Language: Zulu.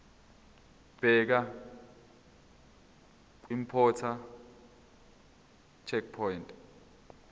bheka kwiimporter checkbox